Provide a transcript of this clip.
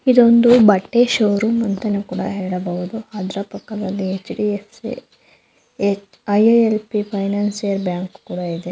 ಇದೊಂದು ಬಟ್ಟೆ ಷೋರೂಮ್ ಅಂತ ನಾವ್ ಕೂಡ ಹೇಳ್ಬಹುದು. ಅದರ ಪಕ್ಕದಲ್ಲಿ ಹೆಚ್_ಡಿ_ಎಫ್_ಸಿ ಫೈನಾನ್ಸಿಯಲ್ ಬ್ಯಾಂಕ್ ಕೂಡ ಇದೆ.